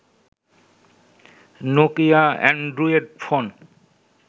Nokia Android phone